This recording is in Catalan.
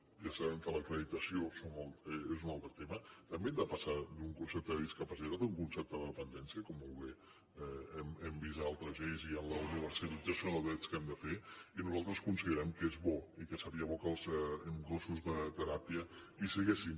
ja sabem que l’acreditació és un altre tema també hem de passar d’un concepte de discapacitat a un concepte de dependència com molt bé hem vist en altres lleis i en la universalització dels drets que hem de fer i nosaltres considerem que és bo i que seria bo que els gossos de teràpia hi siguessin